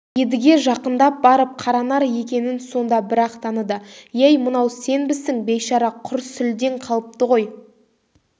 едіге жақындап барып қаранар екенін сонда бір-ақ таныды ей мынау сенбісің бейшара құр сүлдең қалыпты ғой